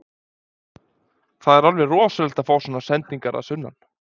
Það er alveg rosalegt að fá svona sendingar að sunnan.